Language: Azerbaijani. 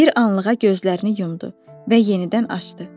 Bir anlığa gözlərini yumdu və yenidən açdı.